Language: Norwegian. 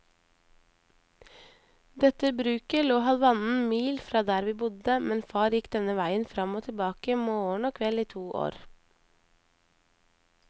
Dette bruket lå halvannen mil fra der vi bodde, men far gikk denne veien fram og tilbake morgen og kveld i to år.